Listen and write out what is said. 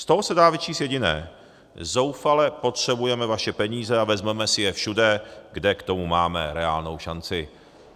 Z toho se dá vyčíst jediné: zoufale potřebujeme vaše peníze a vezmeme si je všude, kde k tomu máme reálnou šanci.